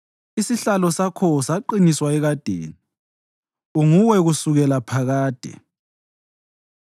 Isihlalo sakho saqiniswa ekadeni; uNguwe kusukela phakade.